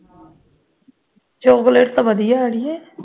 chocolate ਤੇ ਵਧੀਆ ਹੈ ਅੜੀਏ